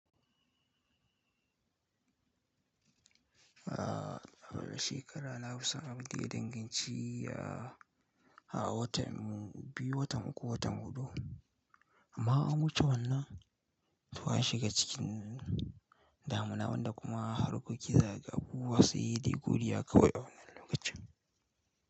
Ah shekara nafi san abinda ya dangin ci a watan biyu, watan uku, watan hudu amma an wuce wannan to an shiga cikin damuna wanda kuma harkoki za kaga abubuwa sai de godiya kawai a wannan lokacin.